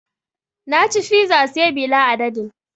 Na ci fiza say bila adadin